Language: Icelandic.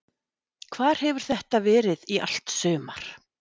Hvar hefur þetta verið í allt sumar?